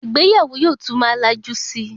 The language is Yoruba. Ìgbéyàwó yóò tún má lajú síi